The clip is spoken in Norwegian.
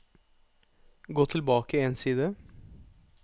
Gå tilbake én side